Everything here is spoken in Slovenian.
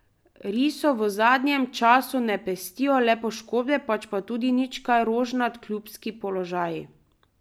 Risov v zadnjem času ne pestijo le poškodbe, pač pa tudi nič kaj rožnat klubski položaji.